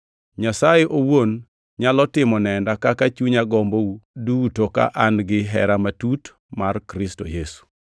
Nyasaye owuon nyalo timo nenda kaka chunya gombou duto ka an-gi hera matut mar Kristo Yesu.